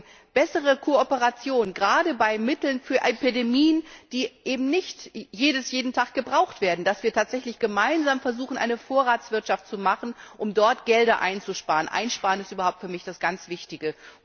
Aber eben bessere Kooperation, gerade bei Mitteln für Epidemien, die eben nicht jeden Tag gebraucht werden, dass wir tatsächlich gemeinsam versuchen, eine Vorratswirtschaft zu machen, um dort Gelder einzusparen. Einsparen ist überhaupt für mich das ganz Wichtige.